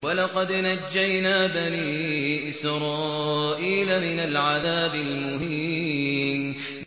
وَلَقَدْ نَجَّيْنَا بَنِي إِسْرَائِيلَ مِنَ الْعَذَابِ الْمُهِينِ